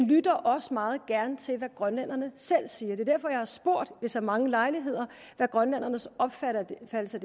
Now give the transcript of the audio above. lytter også meget gerne til hvad grønlænderne selv siger det er derfor jeg har spurgt ved så mange lejligheder hvad grønlændernes opfattelse